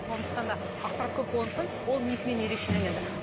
сондықтанда ақпарат көп болғандықтан ол несімен ерекшеленеді